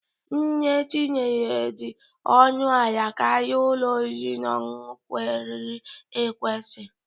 Nne tinye dị ọnụ ala karịa ụlọ oriri na ọṅụṅụ kwesịrị ekwesị.